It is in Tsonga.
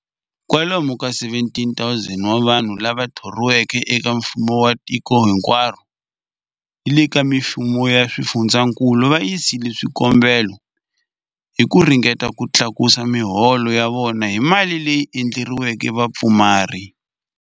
Kwalomu ka 17,000 wa vanhu lava thoriweke eka mfumo wa tiko hinkwaro ni le ka mifumo ya swifundzankulu va yisile swikombelo hi ku ringeta ku tlakusa miholo ya vona hi mali leyi endleriweke vapfumari.